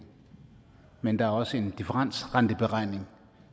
men der er også en differensrenteberegning